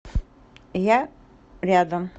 я рядом